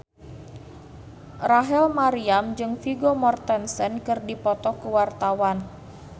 Rachel Maryam jeung Vigo Mortensen keur dipoto ku wartawan